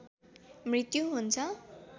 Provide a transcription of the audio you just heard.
मृत्यु हुन्छ